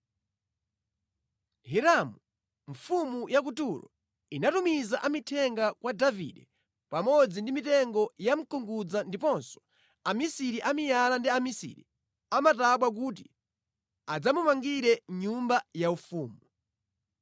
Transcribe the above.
Hiramu mfumu ya ku Turo inatumiza amithenga kwa Davide pamodzi ndi mitengo ya mkungudza ndiponso amisiri a miyala ndi amisiri a matabwa kuti adzamumangire nyumba yaufumu.